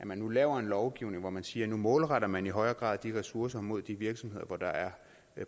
man nu laver en lovgivning hvor man siger at nu målretter man i højere grad de ressourcer mod de virksomheder hvor der er